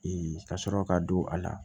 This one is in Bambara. ka sɔrɔ ka don a la